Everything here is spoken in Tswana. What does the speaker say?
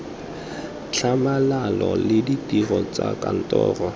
tlhamalalo le ditiro tsa kantoro